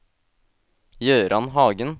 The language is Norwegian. Gøran Hagen